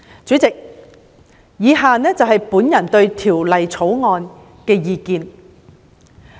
主席，以下是我對《條例草案》的意見。